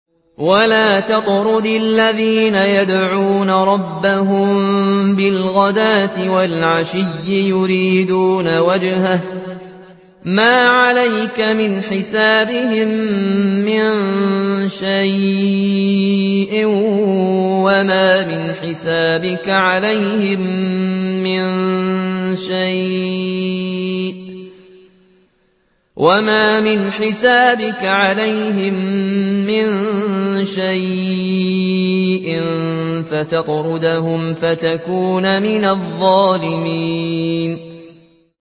وَلَا تَطْرُدِ الَّذِينَ يَدْعُونَ رَبَّهُم بِالْغَدَاةِ وَالْعَشِيِّ يُرِيدُونَ وَجْهَهُ ۖ مَا عَلَيْكَ مِنْ حِسَابِهِم مِّن شَيْءٍ وَمَا مِنْ حِسَابِكَ عَلَيْهِم مِّن شَيْءٍ فَتَطْرُدَهُمْ فَتَكُونَ مِنَ الظَّالِمِينَ